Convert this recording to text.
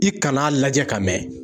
I kan'a lajɛ ka mɛɛn